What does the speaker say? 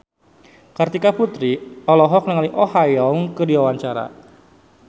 Kartika Putri olohok ningali Oh Ha Young keur diwawancara